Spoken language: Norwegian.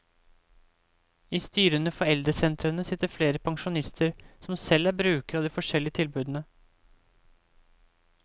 I styrene for eldresentrene sitter flere pensjonister som selv er brukere av de forskjellige tilbudene.